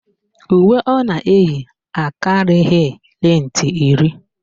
Uwe ọ na-eyi akarịghị lentị iri